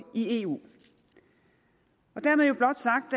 i eu dermed jo blot sagt